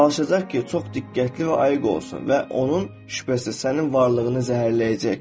Çalışacaq ki, çox diqqətli və ayıq olsun və onun şübhəsi sənin varlığını zəhərləyəcək.